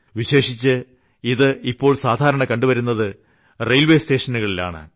വിശേഷിച്ച് ഇത് ഇപ്പോൾ സാധാരണ കണ്ടുവരുന്നത് റെയിൽവേ സ്റ്റേഷനുകളിൽ ആണ്